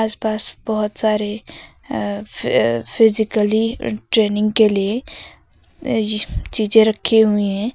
आस पास बहोत सारे अ फि फिजिकली ट्रेनिंग के लिए चीजे रखी हुई हैं।